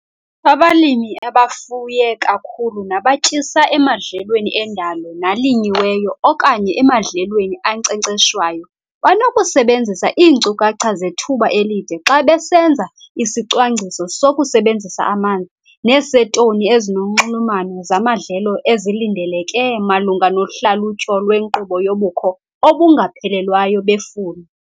Abalimi abafuye kakhulu nabatyisa emadlelweni endalo nalinyiweyo okanye emadlelweni ankcenkceshwayo banokusebenzisa iinkcukacha zethuba elide xa besenza isicwangciso sokusebenzisa amanzi neseetoni ezinonxulumano zamadlelo ezilindeleke malunga nohlalutyo lwenkqubo yobukho obungaphelelwayo befula.